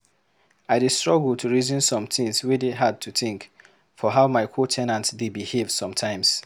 I dey struggle to reason some things wey dey hard to think for how my co- ten ants dey behave sometimes.